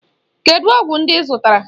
Kedụ ọgwụ ndị ị zụtara?